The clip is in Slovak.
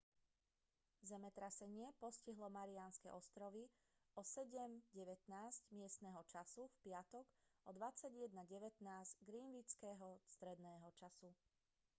zemetrasenie postihlo mariánske ostrovy o 07:19 miestneho času v piatok o 21:19 greenwichského stredného času